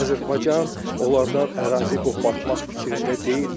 Azərbaycan onlardan ərazi qopartmaq fikrində deyildi.